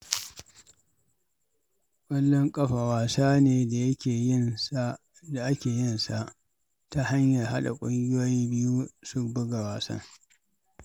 Ƙwallon ƙafa wasa ne da ake yin sa ta hanyar haɗa ƙungiyoyi biyu su buga wasan.